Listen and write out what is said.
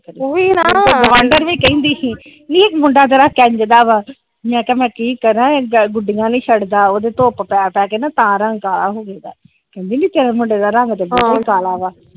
ਮੈਨੂੰ ਤਾ ਗੁਆਂਢਣ ਵੀ ਕਹਿੰਦੀ ਸੀ ਨੀ ਤੇਰਾ ਮੁੰਡਾ ਕਿੰਜ ਦਾ ਆ ਮੈ ਕਿਹਾ ਮੈ ਕਿ ਕਰਾ ਇਹ ਗੁਡੀਆਂ ਨੀ ਛੱਡ ਦਾ ਉਹਦੇ ਧੁੱਪ ਪੈ ਪੈ ਤਾ ਰੰਗ ਕਾਲਾ ਹੋਗਿਆ ਕਹਿੰਦੀ ਨੀ ਤੇਰੇ ਮੁੰਡੇ ਦਾ ਰੰਗ ਤੇ ਬਾਹਲਾ ਈ ਕਾਲਾ ਆ।